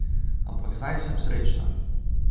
Ampak zdaj sem srečna.